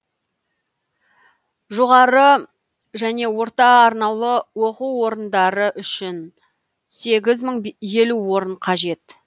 жоғары және орта арнаулы оқу орындары үшін сегіз мың елу орын қажет